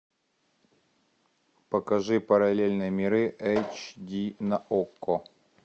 покажи параллельные миры эйч ди на окко